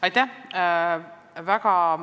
Aitäh!